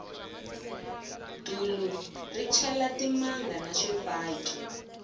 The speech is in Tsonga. dulu ri chela timanga na swifaki